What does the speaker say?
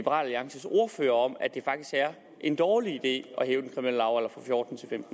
alliances ordfører om at det faktisk er en dårlig idé